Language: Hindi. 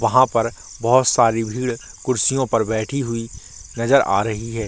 वहाँ पर बहुत सारी भीड़ कुर्सियों पर बैठी नजर आ रही है।